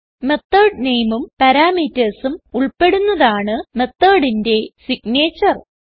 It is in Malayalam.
മെത്തോട് nameഉം parametersഉം ഉൾപ്പെടുന്നതാണ് methodന്റെ സിഗ്നേച്ചർ